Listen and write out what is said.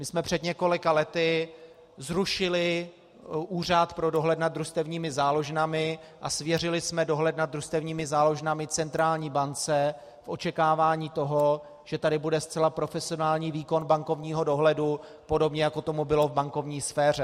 My jsme před několika lety zrušili Úřad pro dohled nad družstevními záložnami a svěřili jsme dohled nad družstevními záložnami centrální bance v očekávání toho, že tady bude zcela profesionální výkon bankovního dohledu, podobně jako tomu bylo v bankovní sféře.